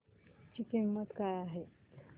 ची किंमत काय आहे